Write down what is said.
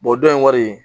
dɔ in kɔni